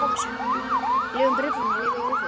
Leyfum Bretunum að lifa í óvissu.